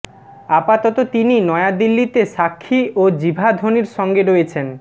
আপাতত তিনি নয়াদিল্লিতে সাক্ষী ও জিভা ধোনির সঙ্গে রয়েছেন